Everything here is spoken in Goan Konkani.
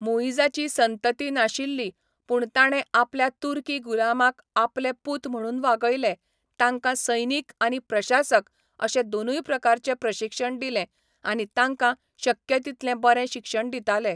मुइझाची संतती नाशिल्ली, पूण ताणें आपल्या तुर्की गुलामांक आपले पूत म्हणून वागयले, तांकां सैनिक आनी प्रशासक अशे दोनूय प्रकारचे प्रशिक्षण दिलें आनी तांकां शक्य तितलें बरें शिक्षण दिताले.